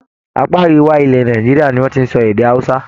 Apá Àríwá ilẹ̀ Nàìjíríà ni wọ́n ti ń sọ èdè Hausa.